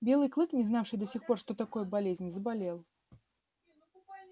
белый клык не знавший до сих пор что такое болезнь заболел